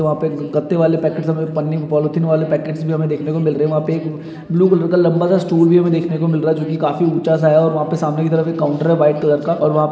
वहा पर गत्ते वाले पैकेट मे पन्नी पॉलिथिन वाले पैकेटस भी हमे देखने को मिल रहे है वहा पे ब्लू कलर का लंबा सा स्टूल भी हमको देखने को मिल रहा है जो की काफी ऊंचा सा है सामने की तरफ एक काउंटर है व्हाइट कलर का और वहा पे--